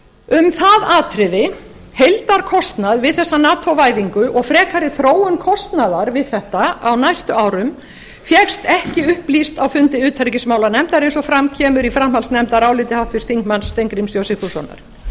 um það atriði heildarkostnað við þessa nato væðingu og frekari þróun kostnaðar við þetta á næstu árum fékkst ekki upplýst á fundi utanríkismálanefndar eins og fram kemur í framhaldsnefndaráliti háttvirtur þ steingríms j sigfússonar þó